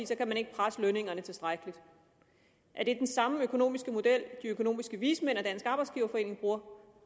så kan man ikke presse lønningerne tilstrækkeligt er det den samme økonomiske model de økonomiske vismænd og dansk arbejdsgiverforening bruger